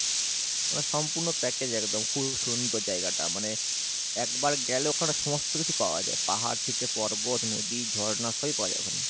ওরা সম্পূর্ণ package একদম খুব সুন্দর জায়গা টা মানে একবার গেলে ওখানে সমস্ত কিছু পাওয়া যাই পাহাড় থেকে পর্বত নদী ঝর্ণা সবই পাওয়া যাই ওখানে।